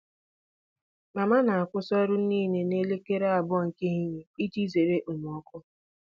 Mama na-akwụsị ọrụ niile n'elekere abụọ nke ehihie iji zere okpomọkụ.